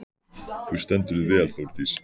Þú stendur þig vel, Þórdís!